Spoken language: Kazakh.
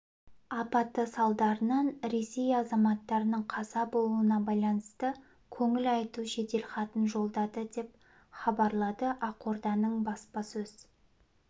апаты салдарынан ресей азаматтарының қаза болуына байланысты көңіл айту жеделхатын жолдады деп хабарлады ақорданың баспасөз